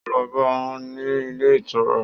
Ó lọ bá a ní ilé ìtura